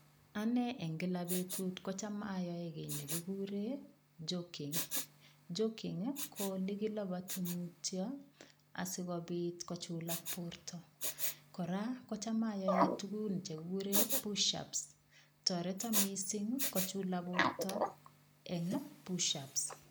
Ane eng kila betut kocham ayoe kiy chekigure joking. Joking ko olekilapati mutio asikopit kochulak borta. Kora kocham ayoe tukun chekigure pushups, toreto sing kochulak borto eng pushupsmi